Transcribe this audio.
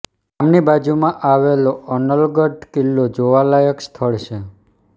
ગામની બાજુમાં આવેલો અનલગઢ કિલ્લો જોવાલાયક સ્થળ છે